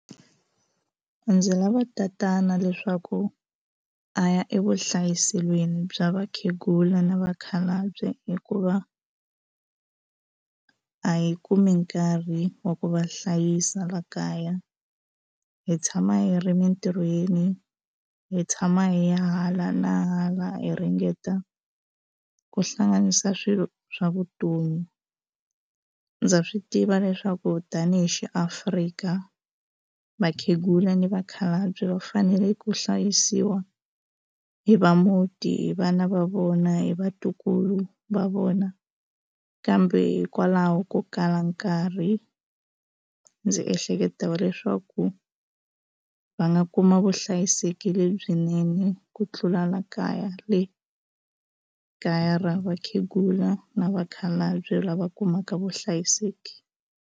Ndzi lava tatana leswaku a ya evuhlayiselweni bya vakhegula na vakhalabye hikuva a hi kumi nkarhi wa ku va hlayisa la kaya hi tshama hi ri emintirhweni hi tshama hi ya hala na hala hi ringeta ku hlanganisa swilo swa vutomi ndza swi tiva leswaku tanihi xi Afrika vakhegula ni vakhalabye va fanele ku hlayisiwa hi va muti hi vana va vona hi vatukulu va vona kambe hikwalaho ko kala nkarhi ni ndzi ehleketa leswaku va nga kuma vuhlayiseki lebyinene ku tlula la kaya le kaya ra vakhegula na vakhalabye lava kumaka vuhlayiseki.